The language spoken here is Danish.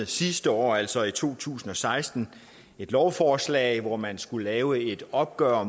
sidste år altså i to tusind og seksten et lovforslag hvor man skulle lave et opgør